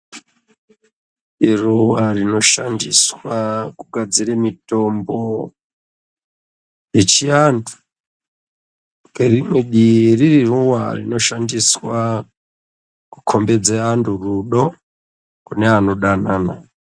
Ruwa rinoshandiswa kugadzire mitombo yechiantu ririruwa rinoshandiswa kukombidza antu rudo kune anodanana.